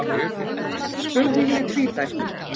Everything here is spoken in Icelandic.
Spurningin er tvíþætt.